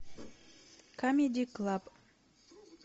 камеди клаб